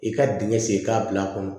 I ka dingɛ sen k'a bila a kɔnɔ